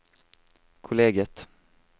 kollegiet